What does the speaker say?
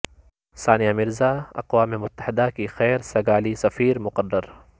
ثا نیہ Mirza اقوا م متحدہ کی خیر سگا لی سفیر مقرر